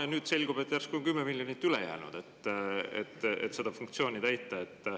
Ja nüüd selgub, et järsku on üle jäänud 10 miljonit, millega saaks seda funktsiooni täita.